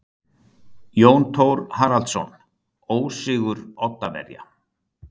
Jón Thor Haraldsson: Ósigur Oddaverja.